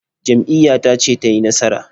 Jam'iyyata ce ta yi nasara.